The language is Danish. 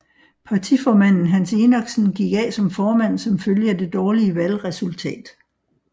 Partiformanden Hans Enoksen gik af som formand som følge af det dårlige valgresultat